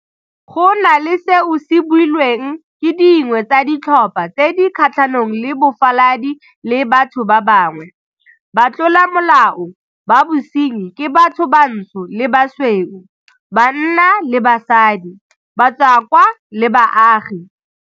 Go na le seo se builweng ke dingwe tsa ditlhopha tse di kgatlhanong le bofaladi le batho ba bangwe, batlolamolao ba bosenyi ke batho bantsho le basweu, banna le basadi, batswakwa le baagi.